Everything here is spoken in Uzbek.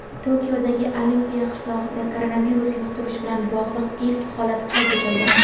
Tokiodagi Olimpiya qishlog‘ida koronavirus yuqtirish bilan bog‘liq ilk holat qayd etildi.